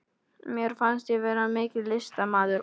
Mér fannst ég vera mikill listamaður.